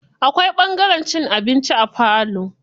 Akwai ɓangaren cin abinci a falo.